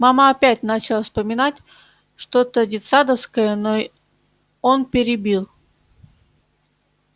мама опять начала вспоминать что то детсадовское но он перебил